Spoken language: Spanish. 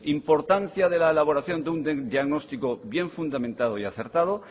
importancia de la elaboración de un diagnóstico bien fundamentado y acertado